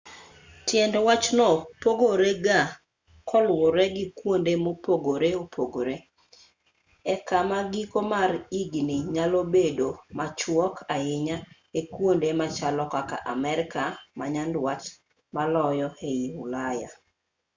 tiend wachno pogore ga ka luwore gi kuonde mopogore opogore e kama giko mar higni nyalo bedo machuok ahinya ei kuonde machalo kaka amerka ma nyanduat maloyo ei ulaya